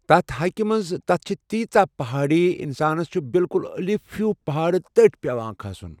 تتھ ہایٚکہِ منٛز تتھ چھِ تیٖژاہ پہاڑی انسانس چھُ بالکُل الف ہیٚو پہاڑ تٔٹھۍ پٮ۪وان کھژُن.